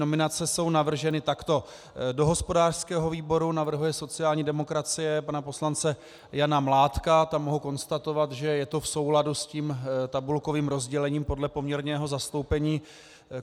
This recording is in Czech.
Nominace jsou navrženy takto: do hospodářského výboru navrhuje sociální demokracie pana poslance Jana Mládka - tam mohu konstatovat, že je to v souladu s tím tabulkovým rozdělením podle poměrného zastoupení.